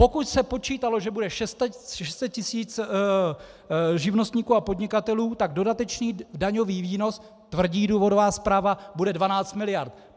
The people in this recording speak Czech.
Pokud se počítalo, že bude 600 tisíc živnostníků a podnikatelů, tak dodatečný daňový výnos, tvrdí důvodová zpráva, bude 12 miliard.